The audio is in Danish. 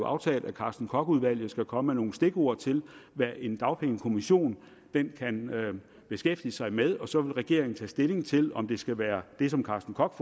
aftalt at karsten koch udvalget skal komme med nogle stikord til hvad en dagpengekommission kan beskæftige sig med og så vil regeringen tage stilling til om det skal være det som karsten koch